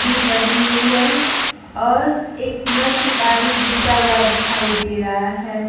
भी बनी हुई है और एक नल से पानी गिरता हुआ दिखाई दे रहा है।